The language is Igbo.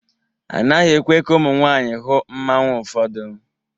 A naghị ekwe ka ụmụ nwanyị hụ mmanwu ụfọdụ.